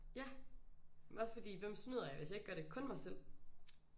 Ja også fordi hvem snyder jeg hvis jeg ikke gør det kun mig selv